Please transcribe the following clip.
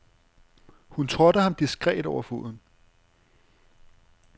Hun trådte ham diskret over foden.